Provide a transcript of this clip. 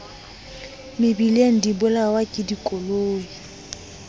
mebileng di bolawa ke dikoloi